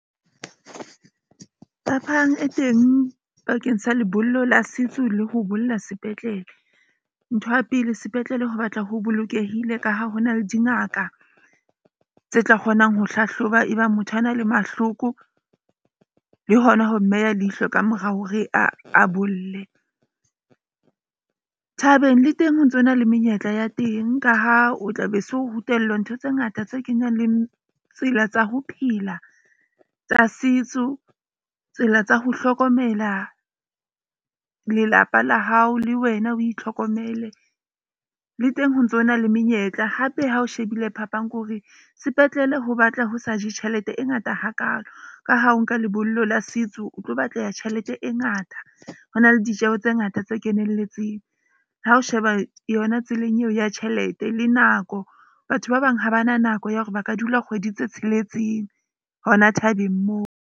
Phapang e teng pakeng sa lebollo la setso le ho bolla sepetlele. Ntho ya pele sepetlele ho batla ho bolokehile, ka ha hona le dingaka tse tla kgonang ho hlahloba ebang motho a na le mahloko le hona ho mmeya leihlo ka mora hore a bolle. Thabeng le teng ho ntsona le menyetla ya teng ka ha o tla be so rutellwa ntho tse ngata tse kenyang le tsela tsa ho phela tsa setso. Tsela tsa ho hlokomela lelapa la hao, le wena o itlhokomele. Le teng ho ntso na le menyetla hape ha o shebile phapang ke hore sepetlele ho batla ho sa je tjhelete e ngata hakaalo ka ha o nka lebollo la setso, o tlo batleha tjhelete e ngata. Ho na le ditjeho tse ngata tse kenelletseng. Ha o sheba yona tseleng eo ya tjhelete le nako. Batho ba bang ha ba na nako ya hore ba ka dula kgwedi tse tsheletseng hona thabeng moo.